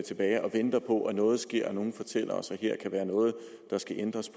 tilbage og venter på at noget sker og at nogle fortæller os at her kan være noget der skal ændres